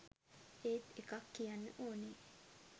ඒත් එකක් කියන්න ඕනේ